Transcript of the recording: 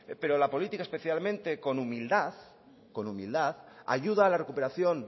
pero la política especialmente con humildad ayuda a la recuperación